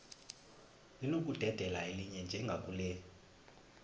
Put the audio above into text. linokudedela elinye njengakule